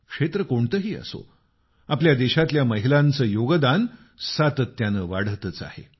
क्षेत्र कुठलेही असो आपल्या देशातल्या महिलांचं योगदान सातत्यानं वाढतच आहे